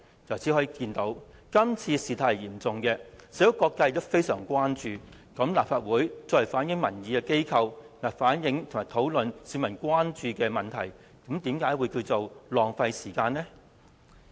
由此可見，今次事態嚴重，社會各界也非常關注，那麼立法會作為反映民意的機構，為甚麼反映和討論市民關注的問題，是浪費時間？